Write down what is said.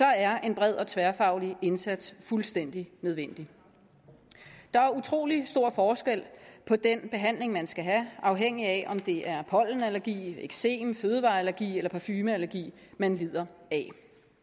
er en bred og tværfaglig indsats fuldstændig nødvendig der er utrolig stor forskel på den behandling man skal have afhængigt af om det er pollenallergi eksem fødevareallergi eller parfumeallergi man lider af